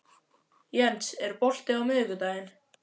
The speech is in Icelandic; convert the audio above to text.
Jens, er bolti á miðvikudaginn?